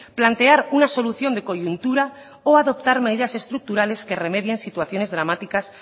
plantear una solución de coyuntura o adoptar medidas estructurales que remedien situaciones dramáticas